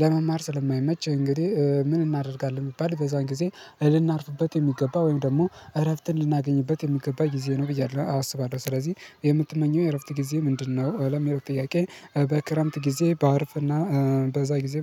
ለመማር ስለማይመች እንግዲህ ምን እናደርጋለን የሚባል በዛን ጊዜ እንድናርፍበት የሚገባ ወይም ደግሞ እረፍት እንድናገኝበት የሚገባ ጊዜ ነው። ብዬ አላስብም። ስለዚህ የምትመኘው የእረፍት ጊዜ ምንድነው? አለም የእረፍት ጥያቄ በክረምት ጊዜ በአርፍና በዛ ጊዜ